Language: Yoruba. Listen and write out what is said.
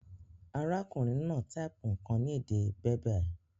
Arákùnrin náà type nkàn ni èdè Berber